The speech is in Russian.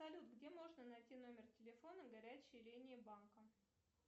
салют где можно найти номер телефона горячей линии банка